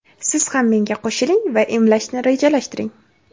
siz ham menga qo‘shiling va emlashni rejalashtiring.